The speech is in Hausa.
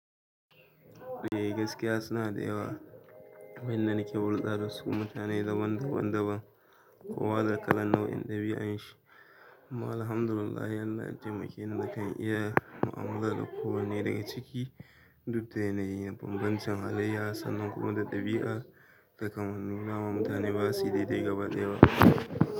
Eh gaskiya suna da yawa. Wannan da nake hulɗa da su mutane ne daban daban daban. Kowa da kalan nau'in ɗabi'un shi. Kuma alhamdulillahi allah ya taimakeni nakan iya mu'amala da kowanne daga ciki duk da yana yin bambancin halayya, sannan kuma da ɗabi'a da kamanni. Dama mutane basuyi daidai gaba ɗaya ba.